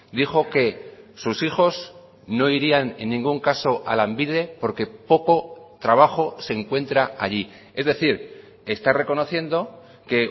dijo que sus hijos no irían en ningún caso a lanbide porque poco trabajo se encuentra allí es decir está reconociendo que